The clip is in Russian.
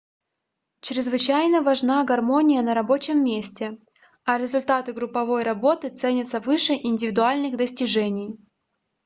чрезвычайно важна гармония на рабочем месте а результаты групповой работы ценятся выше индивидуальных достижений